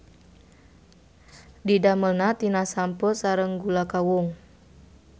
Didamelna tina sampeu sareng gula kawung.